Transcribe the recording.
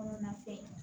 Kɔnɔna fɛn